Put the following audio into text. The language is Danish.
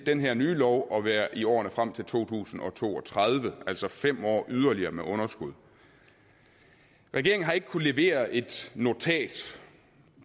den her nye lov at være i årene frem til to tusind og to og tredive altså fem år yderligere med underskud regeringen har ikke kunnet levere et notat